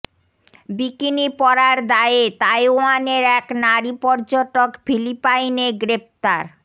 bikini পরার দায়ে তাইওয়ানের এক নারী পর্যটক ফিলিপাইনে গ্রেফতার